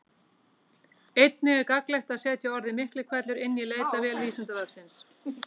Einnig er gagnlegt að setja orðið Miklihvellur inn í leitarvél Vísindavefsins.